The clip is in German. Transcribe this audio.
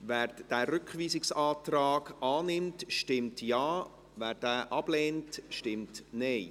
Wer den Rückweisungsantrag annimmt, stimmt Ja, wer diesen ablehnt, stimmt Nein.